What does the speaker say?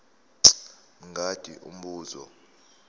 mj mngadi umbuzo